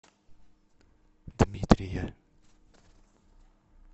дмитрия